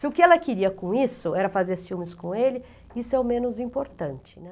Se o que ela queria com isso era fazer ciúmes com ele, isso é o menos importante, né?